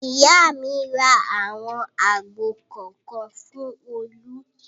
Ìyá mi ra àwọn àgbò kọ̀ọ̀kan fún Olú.